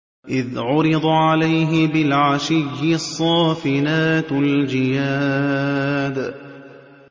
إِذْ عُرِضَ عَلَيْهِ بِالْعَشِيِّ الصَّافِنَاتُ الْجِيَادُ